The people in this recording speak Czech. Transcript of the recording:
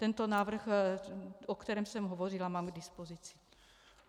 Tento návrh, o kterém jsem hovořila, mám k dispozici.